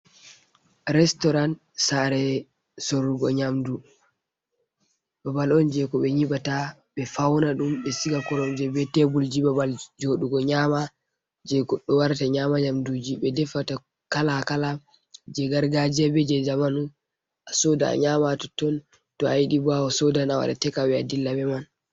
Restoran sare sorugo nyamdu. Babal on jei ko be nyibata be fauna dum ɓe siga koromje be tebulji, babal jodugo nyama jei goɗɗo warata nyama nyamduji be defata kala kala jei gargajiya be jei jamanu a soda a nyama totton to ayidi bo a soda a wada tekawey a dilla be man.